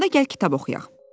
Onda gəl kitab oxuyaq.